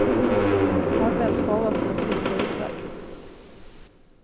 Används bara som en sista utväg.